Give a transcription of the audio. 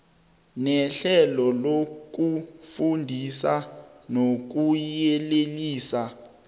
nehlelo lokufundisa nokuyelelisa